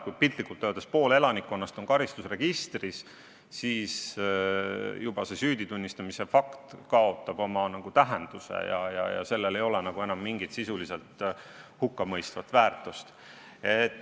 Kui piltlikult öeldes pool elanikkonnast on karistusregistris, siis sellise süüditunnistamise fakt kaotab oma tähenduse, sellel ei ole nagu enam mingit sisuliselt hukkamõistvat väärtust.